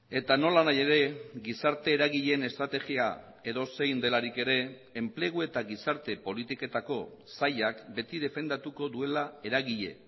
eta nolanahi ere gizarte eragileen estrategia edozein delarik ere enplegu eta gizarte politiketako sailak beti defendatuko duela eragile